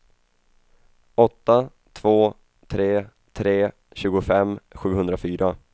åtta två tre tre tjugofem sjuhundrafyra